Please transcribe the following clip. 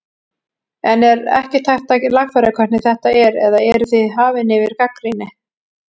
En er ekkert hægt að lagfæra hvernig þetta er eða eruð þið hafin yfir gagnrýni?